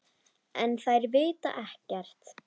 En þær vita ekkert.